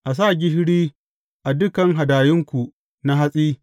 A sa gishiri a dukan hadayunku na hatsi.